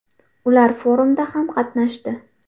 Ular forumda ham qatnashdi.